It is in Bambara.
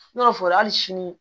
N'o fɔra hali sini